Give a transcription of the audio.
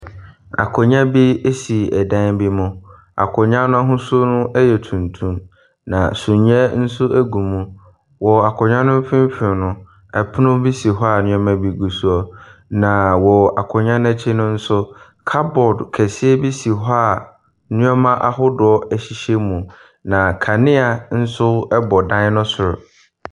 Akonnwa bi si dan bi mu, akonnwa no ahosuo yɛ tuntum na suneɛ nso gu so. Wɔ akonnwa ne mfimfini no, pono bi si hɔ a nneɛma gu soɔ, na wɔ akonnwa n’akyi no nso, cupboard kɛseɛ bi si hɔ a nneɛma ahodoɔ hyehyɛ mu. Na kanea nso bɔ dan ne soro.